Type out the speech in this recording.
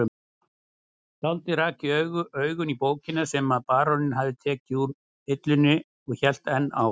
Skáldið rak augun í bókina sem baróninn hafði tekið úr hillunni og hélt enn á